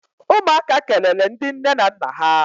Umuaka kelele ndi nne na nna ha.